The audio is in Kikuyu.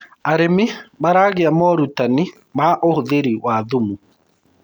arĩmi maragia morutanĩ ma ũhũthiri wa thumu